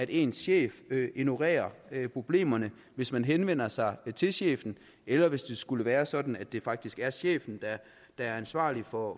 ens chef ignorerer problemerne hvis man henvender sig til chefen eller hvis det skulle være sådan at det faktisk er chefen der er ansvarlig for